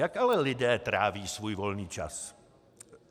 Jak ale lidé tráví svůj volný čas?